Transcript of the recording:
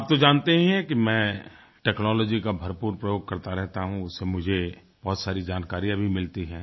आप तो जानते ही हैं कि मैं टेक्नोलॉजी का भरपूर प्रयोग करता रहता हूँ उससे मुझे बहुत सारी जानकारियाँ भी मिलती हैं